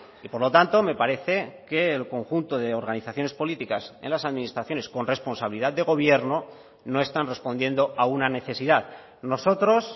y por lo tanto me parece que el conjunto de organizaciones políticas en las administraciones con responsabilidad de gobierno no están respondiendo a una necesidad nosotros